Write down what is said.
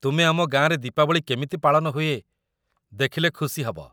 ତୁମେ ଆମ ଗାଁରେ ଦୀପାବଳି କେମିତି ପାଳନ ହୁଏ ଦେଖିଲେ ଖୁସି ହେବ ।